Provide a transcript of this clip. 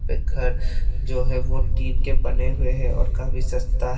एक घर जो है वो टीन के बने हुए हैं और काफी सस्ता है।